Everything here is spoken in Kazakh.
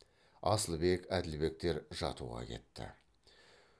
асылбек әділбектер жатуға кетті